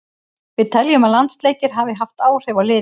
Við teljum að landsleikir hafi haft áhrif á liðið.